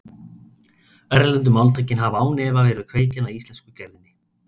Erlendu máltækin hafa án efa verið kveikjan að íslensku gerðinni.